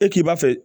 E k'i b'a fɛ